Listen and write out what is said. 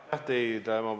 Aitäh teile!